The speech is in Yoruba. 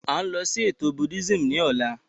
À ń lọ sí ètò Buddhism ní ọ̀la